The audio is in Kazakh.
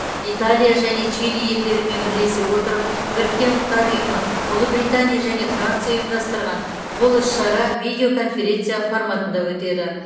италия және чили елдерімен бірлесе отырып біріккен ұлттар ұйымы ұлыбритания және франция ұйымдастырған бұл іс шара видео конференция форматында өтеді